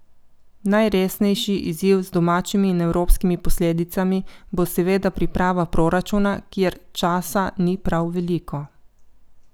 Najresnejši izziv, z domačimi in evropskimi posledicami, bo seveda priprava proračuna, kjer časa ni prav veliko.